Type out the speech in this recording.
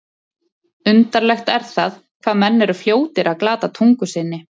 Undarlegt er það, hvað menn eru fljótir að glata tungu sinni.